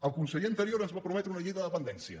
el conseller anterior ens va prometre una llei de dependència